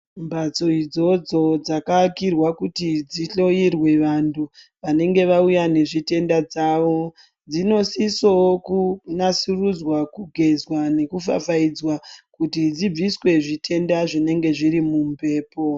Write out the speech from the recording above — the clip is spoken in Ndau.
Mphatso idzodzo dzakavakirwa kuti dzihloyirwe vantu vanenge vauya nezvitenda dzavo dzinosisowo kunatsurudzwa kugezwa nekufafaidzwa kuti dzibviswe zvitenda zvinenge zviri mumphepo.